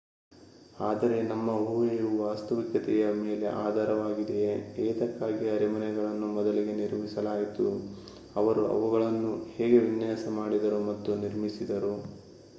ಆದರೆ ನಮ್ಮ ಊಹೆಯು ವಾಸ್ತವಿಕತೆಯ ಮೇಲೆ ಆಧಾರಿತವಾಗಿದೆಯೇ ಏತಕ್ಕಾಗಿ ಅರಮನೆಗಳನ್ನು ಮೊದಲಿಗೆ ನಿರ್ಮಿಸಲಾಯಿತು ಅವರು ಅವುಗಳನ್ನು ಹೇಗೆ ವಿನ್ಯಾಸ ಮಾಡಿದರು ಮತ್ತು ನಿರ್ಮಿಸಿದರು